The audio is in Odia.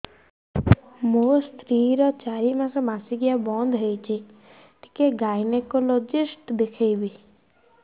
ମୋ ସ୍ତ୍ରୀ ର ଚାରି ମାସ ମାସିକିଆ ବନ୍ଦ ହେଇଛି ଟିକେ ଗାଇନେକୋଲୋଜିଷ୍ଟ ଦେଖେଇବି